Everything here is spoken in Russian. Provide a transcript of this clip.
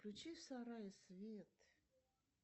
включи в сарае свет